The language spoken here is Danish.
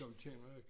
Dem kender jeg ikke